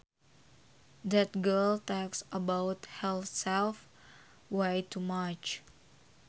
That girl talks about herself way too much